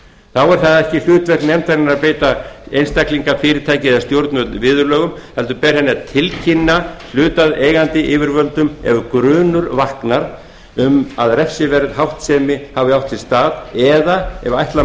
þá er það ekki hlutverk nefndarinnar að beita einstaklinga fyrirtæki eða stjórnvöld viðurlögum heldur ber henni að tilkynna hlutaðeigandi yfirvöldum ef grunur vaknar um að refsiverð háttsemi hafi átt sér stað eða ef ætla